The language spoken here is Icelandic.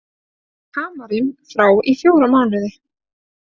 Hamarinn frá í fjóra mánuði